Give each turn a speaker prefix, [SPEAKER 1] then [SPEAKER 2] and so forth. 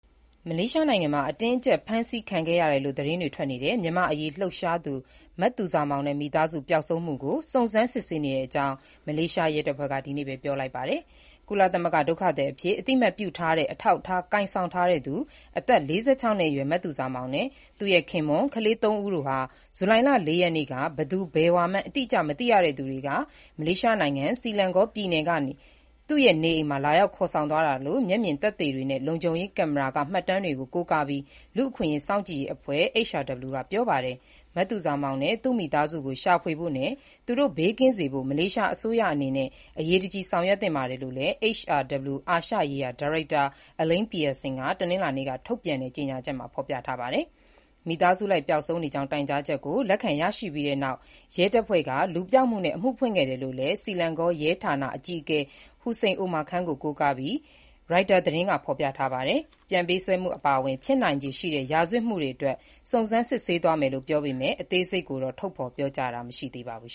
[SPEAKER 1] မလေးရှားနိုင်ငံမှာ အတင်းအကျပ် ဖမ်းဆီးခံခဲ့ရတယ်လို့ သတင်းတွေ ထွက်နေတဲ့ မြန်မာ့အရေးလှုပ်ရှားသူ မသူဇာမောင်နဲ့ မိသားစု ပျောက်ဆုံးမှုနဲ့လို့ စုံစမ်းစစ်ဆေးနေကြောင်း မလေးရှားရဲတပ်ဖွဲ့က ဒီနေ့ပဲ ပြောလိုက်ပါတယ်။ ကုလသမဂ္ဂက ဒုက္ခသည်အဖြစ် အသိအမှတ်ပြုထားတဲ့ အထောက်အထား ကိုင်ဆောင်ထားသူ အသက်၄၆ နှစ်အရွယ် မသူဇာမောင်နဲ့ သူ့ရဲ့ ခင်ပွန်း၊ ကလေးငယ်သုံးဦးတို့ဟာ ဇူလိုင် ၄ ရက်က ဘယ်သူဘယ်ဝါမှန်း အတိအကျ မသိရသူတွေက မလေးရှားနိုင်ငံ ဆီလန်ဂေါပြည်နယ်က နေအိမ်မှာ လာရောက်ခေါ်ဆောင်သွားတာလို့ မျက်မြင်သက်သေတွေနဲ့ လုံခြုံရေးကင်မရာက မှတ်တမ်းတွေကို ကိုးကားပြီး လူ့အခွင့်အရေးစောင့်ကြည့်ရေးအဖွဲ့ (HRW) ကပြောပါတယ်။ “မသူဇာမောင်နဲ့ သူ့မိသားစုကို ရှာဖွေဖို့နဲ့ သူတို့ဘေးကင်းစေဖို့ မလေးရှားအစိုးရအနေနဲ့ အရေးတကြီး ဆောင်ရွက်သင့်ပါတယ်” လို့လည်း HRW အာရှရေးရာ ဒါရိုက်တာ Elaine Pearson က တနင်္လာနေ့က ထုတ်ပြန်တဲ့ ကြေညာချက်မှာပြောထားပါတယ်။ မိသားစုလိုက် ပျောက်ဆုံးနေကြောင်း တိုင်ကြားချက်ကို လက်ခံရရှိပြီးနောက်ရဲတပ်ဖွဲ့က လူပျောက်မှုနဲ့ အမှုဖွင့်ခဲ့တယ်လို့ဆီလန်ဂေါရဲဌာန အကြီးအကဲ ဟူစိန်အိုမာခန်း ကို ကိုးကားပြီး ရိုက်တာသတင်းက ဖော်ပြပါတယ်။ ပြန်ပေးဆွဲမှုအပါအဝင် ဖြစ်နိုင်ခြေရှိတဲ့ ရာဇဝတ်မှုတွေအတွက် စုံစမ်းစစ်ဆေးသွားမယ်လို့ ပြောပေမဲ့ အသေးစိတ်ကိုတော့ ထုတ်ဖော်ပြောကြားတာမရှိသေးပါဘူး